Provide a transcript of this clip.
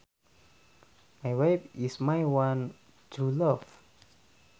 My wife is my one true love